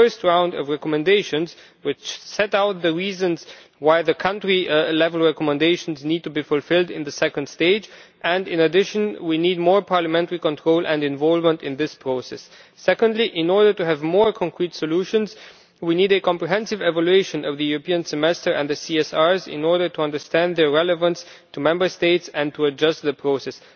A first round of recommendations which sets out the reasons why the country level recommendations need to be fulfilled in the second stage, and in addition we need more parliamentary control and involvement in this process. Secondly, in order to have more concrete solutions, we need a comprehensive evaluation of the European Semester and the CSRs in order to understand their relevance to Member States and to adjust the process.